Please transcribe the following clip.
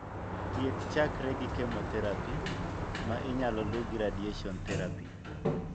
Thieth chakre gi chemotherapy ,ma inyalo lu gi radiation therapy.